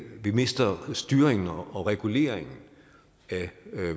vi mister styringen og reguleringen af